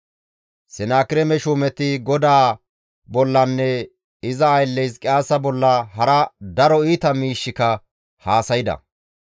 Senaakireeme shuumeti GODAA bollanne iza aylle Hizqiyaasa bolla hara daro iita miishshika haasayda.